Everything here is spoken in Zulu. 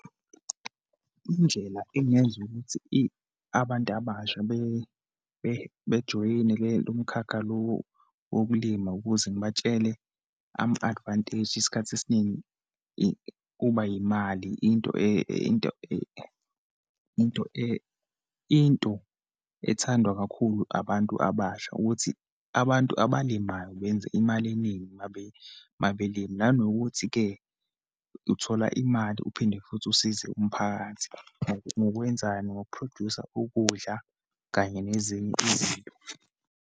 Indlela engenza ukuthi abantu abasha bejoyine lento lomkhakha lo wokulima ukuze ngibatshele ama-advantage. Isikhathi esiningi kuba yimali, into into into into ethandwa kakhulu abantu abasha ukuthi, abantu abalimayo benze imali eningi uma belima. Nanokuthi-ke, uthola imali, uphinde futhi usize umphakathi, ngokwenzani, ngoku producer ukudla, kanye nezinye izinto.